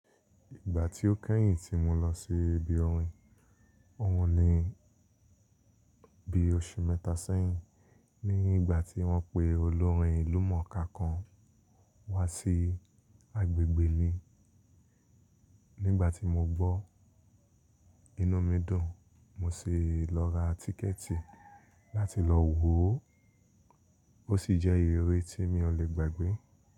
Ìgbà tí ó kẹ́yìn tí mo lọ sí ibi orin, òhun ni bí oṣù mẹ́ta sẹ́yìn ní igbà tí wọ́n pe olórin ìlú mọ̀ọ́ká kan wá sí agbẹ̀gbẹ̀ mi. Nígbà tí mo gbọ́, inú mi dùn, mo sì lọ ra tíkẹ́tì láti lọ wò ó. Ó sì jẹ́ ìriri tí mi ò lè gbàgbé.